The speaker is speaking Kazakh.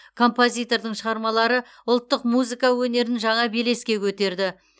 композитордың шығармалары ұлттық музыка өнерін жаңа белеске көтерді